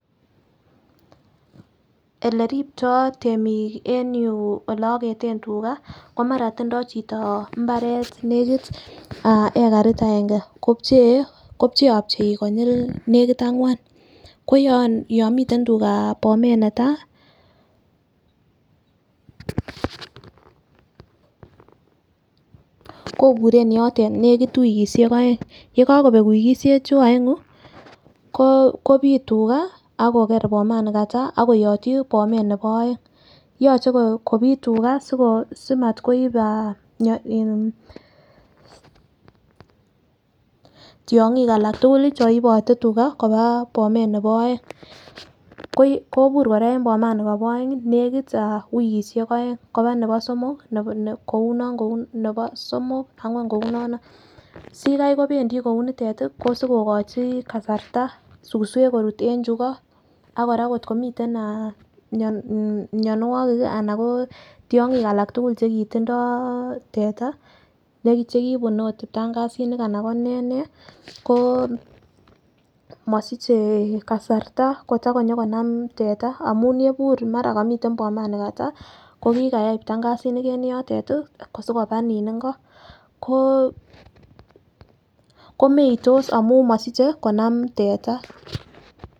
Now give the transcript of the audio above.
Ole ripto temik en yuu oleoketen tugaa komara tindo chito imbaret nekit hekarit aenge kipchee kopcheopchei konyile nekit angwan ko yon miten tugaa bomet netai Koburen yotet nekit wikishek oeng yekokobek wikishek chuu oengu ko kobit tugaa ako akokere bomanikataa ak koyotyi Bomet neolbo oeng. Yoche kopit tugaa sikor simatkoib ah mio tyonkik alak tukuk lii cheibote tugaa koba bomet nebo oeng, kobur Koraa en bomani Kobo oeng nekit ah wikishek oeng koba nebo somok kouno koun nebo somok angwan kounono, sikai kobendii kiunitet tii ko siko kokochi kasarta suswek korut en chuu iko ak Koraa kotko miten ah mionwokik kii anan ko tyongik alak tukuk chekitindo teta chekibun ot ibtangasinik anan konee nee ko mosiche kasarta kotakonyo konam teta amun rebur mara komiten boman nikataa ko kikayai ptangazinik en yotet tii kosikoba nin inko ko komeitos amun mosiche konam teta.